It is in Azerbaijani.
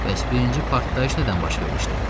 Bəs birinci partlayış nədən baş vermişdi?